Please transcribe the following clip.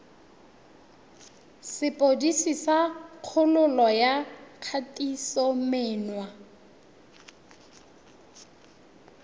sepodisi sa kgololo ya kgatisomenwa